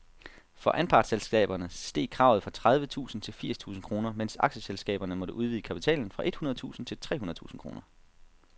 For anpartsselskaberne steg kravet fra tredive tusind til firs tusind kroner, mens aktieselskaberne måtte udvide kapitalen fra et hundrede tusind til tre hundrede tusind kroner.